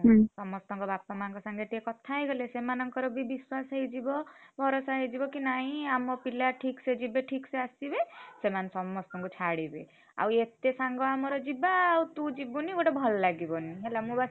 ସମସ୍ତଙ୍କ ବାପା ମାଆଙ୍କ ସାଙ୍ଗରେ ଟିକେ କଥା ହେଇଗଲେ ସେମାନଙ୍କର ବି ବିଶ୍ୱାସ ହେଇଯିବ ଭରସା ହେଇଯିବକି ନାଇଁ ଆମ ପିଲା ଠିକ୍ ସେ ଯିବେ ଠିକ୍ ସେ ଆସିବେ ସେମାନେ ସମସ୍ତଙ୍କୁ ଛାଡ଼ିବେ। ଆଉ ଏତେ ସାଙ୍ଗ ଆମର ଯିବା ଆଉ ତୁ ଯିବୁନି ଗୋଟେ ଭଲ ଲାଗିବନି ହେଲା ମୁଁ ବା।